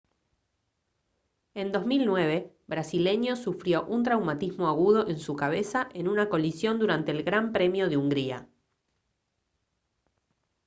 en 2009 brasileño sufrió un traumatismo agudo en su cabeza en una colisión durante el gran premio de hungría